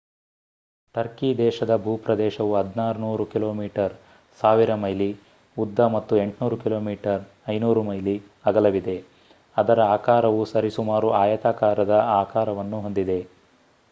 Turkey ದೇಶದ ಭೂಪ್ರದೇಶವು 1,600 kilometre 1,000 mile ಉದ್ದ ಮತ್ತು 800 ಕಿಮೀ 500 ಮೈಲಿ ಅಗಲವಿದೆ ಅದರ ಆಕಾರವು ಸರಿಸುಮಾರು ಆಯತಾಕಾರದ ಆಕಾರವನ್ನು ಹೊಂದಿದೆ